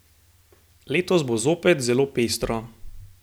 Letos bo zopet zelo pestro!